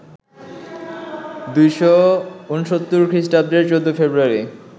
২৬৯ খৃষ্টাব্দের ১৪ ফেব্রুয়ারি